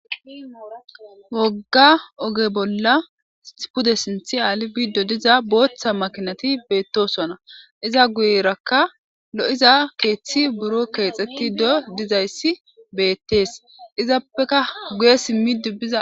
Wogga oge bolla pude sinthi aali biiddo diza booththa makinati beettosona iza guyerakka lo,iza keeththi buro keexeti do dizayssi beettees izappeka guye simmi dubbiza.